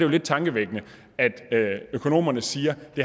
lidt tankevækkende at økonomerne siger at det